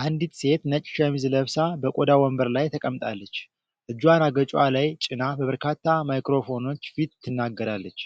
አንዲት ሴት ነጭ ሸሚዝ ለብሳ በቆዳ ወንበር ላይ ተቀምጣለች። እጇን አገጯ ላይ ጭና በበርካታ ማይክሮፎኖች ፊት ትናገራለች።